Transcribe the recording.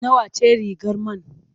Nawa ce rigar man?